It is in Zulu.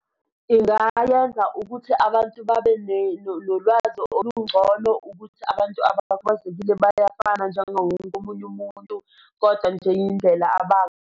Ingayenza ukuthi abantu babe nolwazi olungcono ukuthi abantu abakhubazekile bayafana njengawo wonke omunye umuntu kodwa nje yindlela .